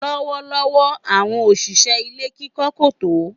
Lọ́wọ́lọ́wọ́ àwọn òṣìṣẹ́ ilé kíkọ́ kò tó.